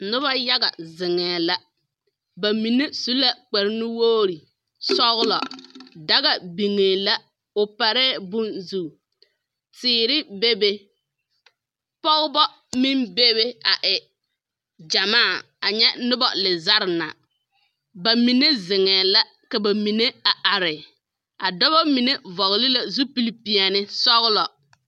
Noba yaga zeŋɛɛ la. Ba mine su la kpare nuwogiri sɔgelɔ. daga biŋee la o parɛɛ bone zu. Teere bebe, pɔgeba meŋ bebe a e gyamaa anyɛ noba lezare na. ba mine zeŋɛɛ la ka ba mine a are. A dɔbɔ mine vɔgele la zupil peɛle, sɔgelɔ